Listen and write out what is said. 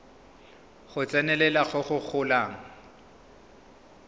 go tsenelela go go golang